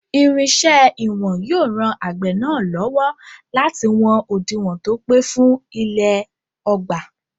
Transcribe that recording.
Irinṣẹ́ ìwọ̀n yóò ran àgbẹ̀ náà lọ́wọ́ láti wọn òdiwọ̀n tó pé fún ilẹ̀ ọgbà.